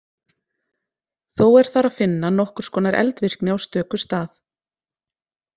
Þó er þar að finna nokkurs konar eldvirkni á stöku stað.